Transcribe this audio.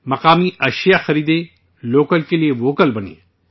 مقامی مصنوعات خریدیں، لوکل کے لیے ووکل بنیں